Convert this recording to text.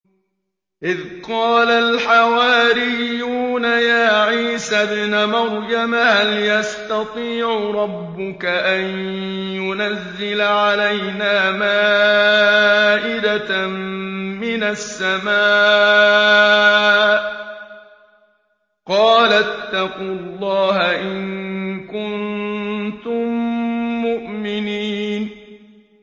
إِذْ قَالَ الْحَوَارِيُّونَ يَا عِيسَى ابْنَ مَرْيَمَ هَلْ يَسْتَطِيعُ رَبُّكَ أَن يُنَزِّلَ عَلَيْنَا مَائِدَةً مِّنَ السَّمَاءِ ۖ قَالَ اتَّقُوا اللَّهَ إِن كُنتُم مُّؤْمِنِينَ